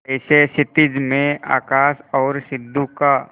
जैसे क्षितिज में आकाश और सिंधु का